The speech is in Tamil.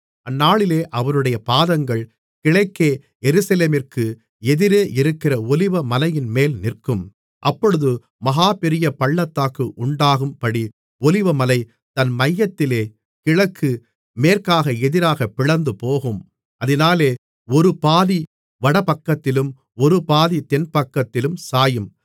அந்நாளிலே அவருடைய பாதங்கள் கிழக்கே எருசலேமிற்கு எதிரே இருக்கிற ஒலிவமலையின்மேல் நிற்கும் அப்பொழுது மகா பெரிய பள்ளத்தாக்கு உண்டாகும்படி ஒலிவமலை தன் மையத்திலே கிழக்கு மேற்காக எதிராகப் பிளந்துபோகும் அதினாலே ஒரு பாதி வடபக்கத்திலும் ஒரு பாதி தென்பக்கத்திலும் சாயும்